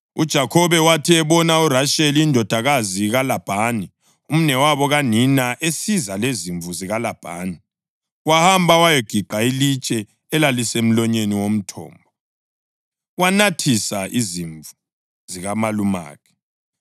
UJakhobe wathi ebona uRasheli indodakazi kaLabhani, umnewabo kanina esiza lezimvu zikaLabhani, wahamba wayagiqa ilitshe elalisemlonyeni womthombo wanathisa izimvu zikamalumakhe.